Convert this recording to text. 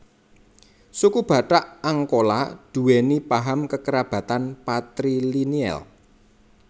Suku Batak Angkola duweni paham kekerabatan patrilineal